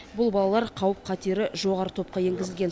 бұл балалар қауіп қатері жоғары топқа енгізілген